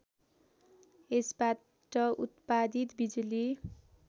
यसबाट उत्पादित बिजुली